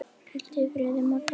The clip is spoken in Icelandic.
Hvíldu í friði, Magga mín.